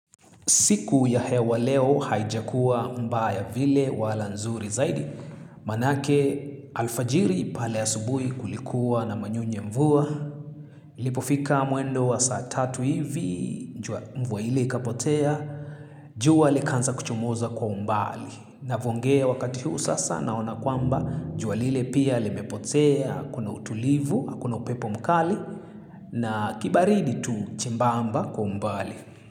Siku ya hewa leo haijakua mbaya vile wala nzuri zaidi, maanake alfajiri pale ya asubuhi kulikuwa na manyunyu ya mvua. Lipofika mwendo wa saatatu hivi, mvua ile ikapotea, jua likanza kuchomoza kwa mbali. Navongea wakati huu sasa na ona kwamba, jua lile pia limepotea, kuna utulivu, hakuna upepo mkali, na kibaridi tu chembamba kwa umbali.